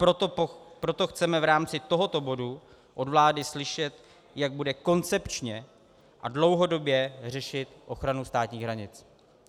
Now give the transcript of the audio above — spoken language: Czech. Proto chceme v rámci tohoto bodu od vlády slyšet, jak bude koncepčně a dlouhodobě řešit ochranu státních hranic.